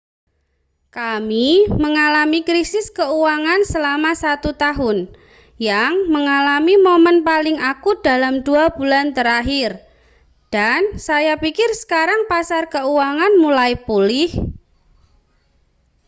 kami mengalami krisis keuangan selama satu tahun yang mengalami momen paling akut dalam dua bulan terakhir dan saya pikir sekarang pasar keuangan mulai pulih